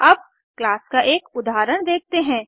अब क्लास का एक उदाहरण देखते हैं